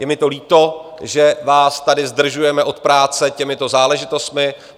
Je mi to líto, že vás tady zdržujeme od práce těmito záležitostmi.